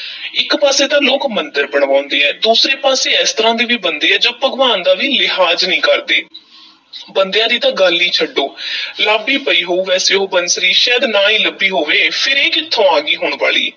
ਇੱਕ ਪਾਸੇ ਤਾਂ ਲੋਕ ਮੰਦਰ ਬਣਵਾਂਦੇ ਐ, ਦੂਸਰੇ ਪਾਸੇ ਏਸ ਤਰ੍ਹਾਂ ਦੇ ਵੀ ਬੰਦੇ ਐ ਜੋ ਭਗਵਾਨ ਦਾ ਵੀ ਲਿਹਾਜ਼ ਨਹੀਂ ਕਰਦੇ ਬੰਦਿਆਂ ਦੀ ਤਾਂ ਗੱਲ ਈ ਛੱਡੋ ਲੱਭ ਈ ਪਈ ਹੋਊ ਵੈਸੇ ਉਹ ਬੰਸਰੀ, ਸ਼ਾਇਦ ਨਾ ਹੀ ਲੱਭੀ ਹੋਵੇ ਫੇਰ ਇਹ ਕਿੱਥੋਂ ਆ ਗਈ ਹੁਣ ਵਾਲੀ।